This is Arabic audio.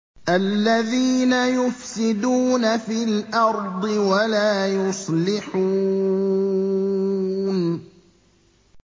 الَّذِينَ يُفْسِدُونَ فِي الْأَرْضِ وَلَا يُصْلِحُونَ